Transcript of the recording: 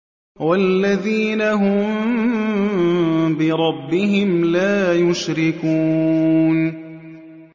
وَالَّذِينَ هُم بِرَبِّهِمْ لَا يُشْرِكُونَ